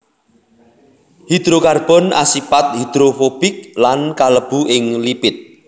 Hidrokarbon asipat hidrofobik lan kalebu ing lipid